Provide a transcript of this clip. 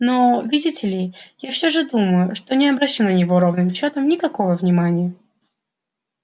но видите ли я все же думаю что не обращу на него ровным счётом никакого внимания